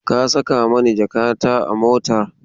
Ka saka mani jakata a mota?